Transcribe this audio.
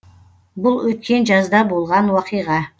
бұл өткен жазда болған оқиға